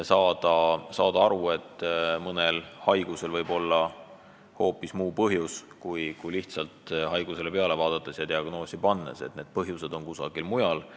Tuleb saada aru, et mõnel haigusel võib olla hoopis muu põhjus, kui lihtsalt haigusele peale vaadates ja diagnoosi pannes tundub, need põhjused on kusagil mujal.